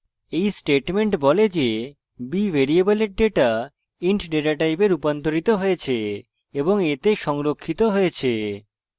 এই statement বলে যে b ভ্যারিয়েবলের ডেটা int ডেটা type রুপান্তরিত হয়েছে এবং a তে সংরক্ষিত হয়েছে